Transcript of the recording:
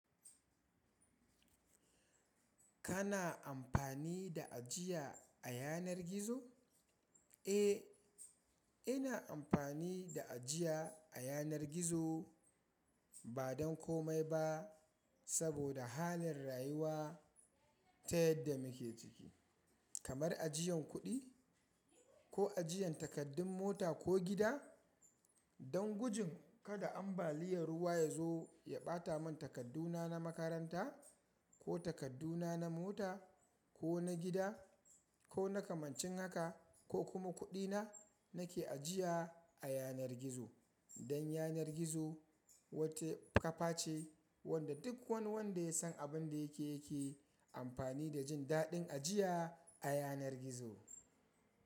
Kana amfani da ajiya a yanar gizo? Eh, ina amfani da ajiya a yanar gizo ba don komai ba saboda halin rayuwa ta yadda muke ciki. Kamar ajiyan kuɗi ko ajiyan takardun mota ko gida. Don gujin kada ambaliyar ruwa ya zo ya ɓata mun takarduna na makaranta ko takarduna na mota ko na gida ko na kamancin haka ko kuma kuɗina nake ajiya a yanar gizo. Don yanar gizo wata kafa ce wanda duk wani wanda ya san abin da yake yake amfani da jin daɗin ajiya a yanar gizo.